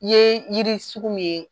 ye yiri sugu min ye